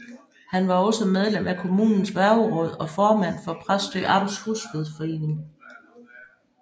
Han var også medlem af kommunens værgeråd og formand for Præstø Amts Husflidsforening